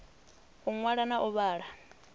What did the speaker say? u ṅwala na u vhala